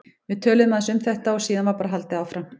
Við töluðum aðeins um þetta og síðan var bara haldið áfram.